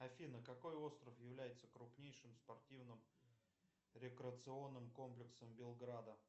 афина какой остров является крупнейшим спортивным рекреационным комплексом белграда